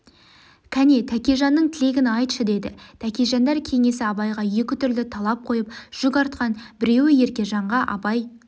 кәне тәкежанның тілегін айтшы деді тәкежандар кеңесі абайға екітүрлі талап қойып жүк артқан біреуі еркежанға абай